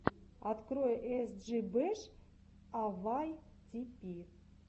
открой эс джи бэш а вай ти пи